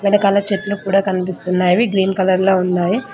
వెనకాల చెట్లు కూడా కనిపిస్తున్నావి అవి గ్రీన్ కలర్ లో ఉన్నాయి.